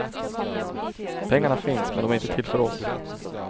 Pengarna finns, men de är inte till för oss.